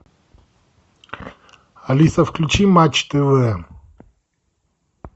алиса включи матч тв